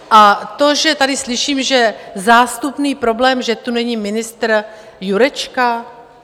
A to, že tady slyším, že - zástupný problém, že tu není ministr Jurečka?